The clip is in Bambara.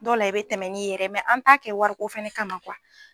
Dɔw la i be tɛmɛ n'i yɛrɛ ye mɛn an t'a kɛ wariko fɛnɛ kama kuwa